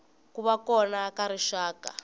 ku va kona ka rixaka